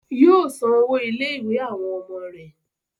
Yóò san owó ilé-ìwé àwọn ọmọ rẹ̀.